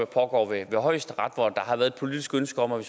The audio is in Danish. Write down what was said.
pågår ved højesteret hvor der har været et politisk ønske om at